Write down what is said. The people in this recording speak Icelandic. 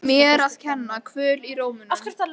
Mér að kenna- Kvöl í rómnum.